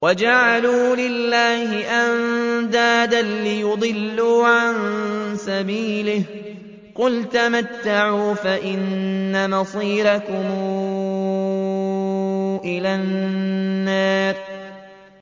وَجَعَلُوا لِلَّهِ أَندَادًا لِّيُضِلُّوا عَن سَبِيلِهِ ۗ قُلْ تَمَتَّعُوا فَإِنَّ مَصِيرَكُمْ إِلَى النَّارِ